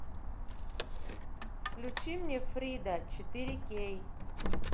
включи мне фрида четыре кей